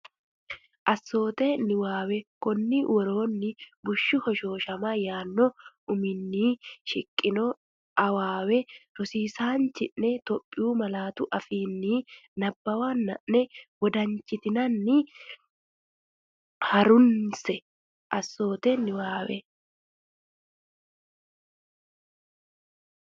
Assoote Niwaawe Konni woroonni “bushshu hoshooshama” yaanno uminni shiqqino waawe rosiisaanchi’ne Itophiyu malaatu afiinni nabbawanna’ne wodan- chitinanni ha’runse Assoote Niwaawe.